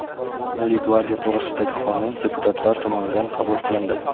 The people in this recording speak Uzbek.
Milliy gvardiya to‘g‘risidagi qonun deputatlar tomonidan qabul qilindi.